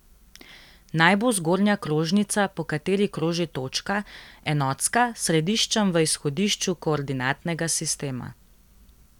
Naj bo zgornja krožnica, po kateri kroži točka, enotska, s središčem v izhodišču koordinatnega sistema.